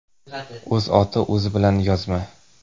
O‘z oti o‘zi bilan yozma.